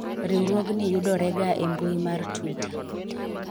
riwruogni yudore ga e mbui mar twitter